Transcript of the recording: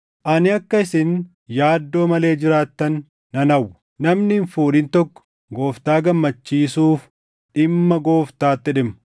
Ani akka isin yaaddoo malee jiraattan nan hawwa. Namni hin fuudhin tokko Gooftaa gammachiisuuf dhimma Gooftaatti dhimma.